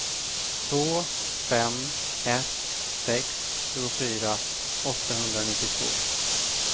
två fem ett sex tjugofyra åttahundranittiotvå